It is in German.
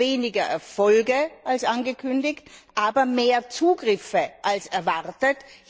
Es gibt weniger Erfolge als angekündigt, aber mehr Zugriffe als erwartet.